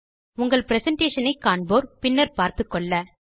உங்கள் பிரசன்டேஷன் ஐ காண்போர் பின்னர் பார்த்துக்கொள்ள